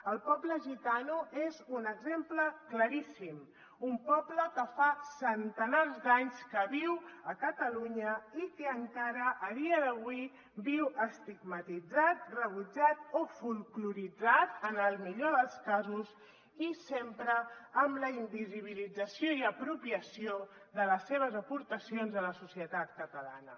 el poble gitano n’és un exemple claríssim un poble que fa centenars d’anys que viu a catalunya i que encara avui dia viu estigmatitzat rebutjat o folkloritzat en el millor dels casos i sempre amb la invisibilització i apropiació de les seves aportacions a la societat catalana